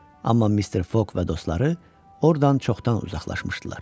Amma Mister Foq və dostları ordan çoxdan uzaqlaşmışdılar.